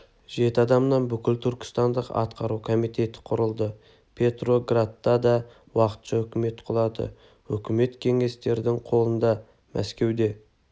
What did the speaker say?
жеті адамнан бүкіл түркістандық атқару комитеті құрылды петроградта да уақытша үкімет құлады өкімет кеңестердің қолында мәскеуде